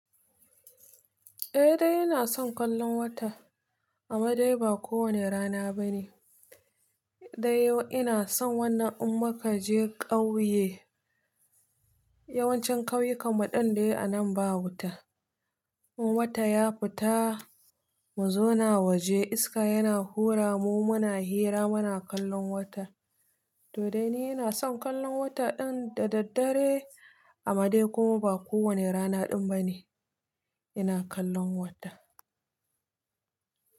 Eh dai ina son kallon wata, amma dai ba kowane rana bane. Dai ina son wannan in muka je ƙauye, yawancin ƙauyukan muɗin dai anan ba wuta. In wata ya fita mu zo na waje iska yana hura mu muna hira muna kallon wata. To dai ni ina son kallon wata ɗin da daddare, amma dai kuma ba kowane rana ɗin bane ina kallon wata.